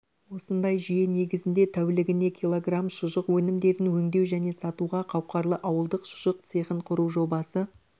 осындай жүйе негізінде тәулігіне килограмм шұжық өнімдерін өңдеу және сатуға қауқарлы ауылдық шұжық цехын құру жобасы